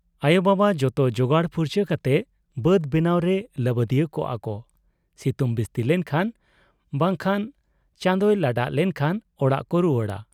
ᱟᱭᱚ ᱵᱟᱵᱟᱵ ᱡᱚᱛᱚ ᱡᱚᱜᱟᱲ ᱯᱩᱨᱪᱟᱹ ᱠᱟᱛᱮ ᱵᱟᱹᱫᱽ ᱵᱮᱱᱟᱣ ᱨᱮ ᱞᱟᱹᱵᱟᱫᱤᱭᱟᱹᱣ ᱠᱚᱜ ᱟ ᱠᱚ ᱥᱤᱛᱩᱝ ᱵᱤᱥᱛᱤᱞᱮᱱ ᱠᱷᱟᱱ ᱵᱟᱝ ᱠᱦᱟᱱ ᱪᱟᱸᱫᱚᱭ ᱞᱟᱰᱟᱜ ᱞᱮᱱᱠᱷᱟᱱ ᱚᱲᱟᱜ ᱠᱚ ᱨᱩᱣᱟᱹᱲᱟ ᱾